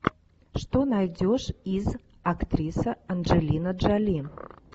что найдешь из актриса анджелина джоли